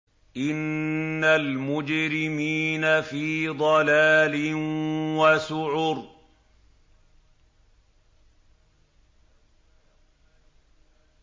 إِنَّ الْمُجْرِمِينَ فِي ضَلَالٍ وَسُعُرٍ